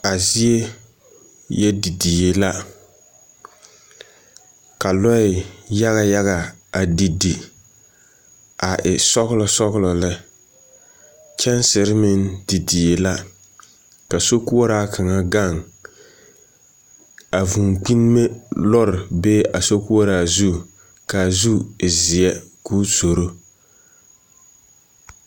A zie yɔ didie la, ka lɔɛ yaga yaga a didi a e sɔgelɔ sɔgelɔ lɛ. Kyɛnsere meŋ didie la, ka sokoɔraa kaŋa gaŋ. A vũũ kpine lɔre bee a sokoɔraa zu ka a zu e zeɛ ka o zoro.